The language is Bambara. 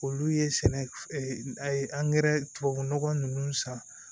Olu ye sɛnɛ a ye tubabu nɔgɔ nunnu san